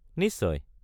নিশ্চয়।